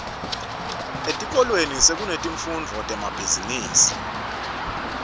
etikolweni sekunetifundvo temabhizimisi